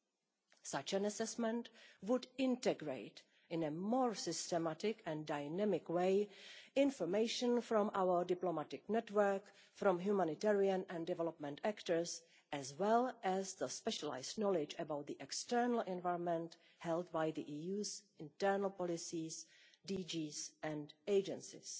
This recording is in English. Such a streamlined assessment would integrate, in a more systematic and dynamic way, information from our diplomatic network and from humanitarian and development actors, as well as the specialised knowledge about the external environment held by the EU's internal policies, DGs and agencies.